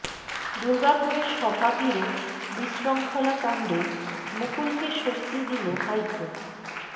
দুর্গাপুরে সভা ঘিরে বিশৃঙ্খলা কাণ্ডে মুকুলকে স্বস্তি দিল হাইকোর্ট